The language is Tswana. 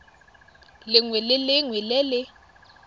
lengwe le lengwe le le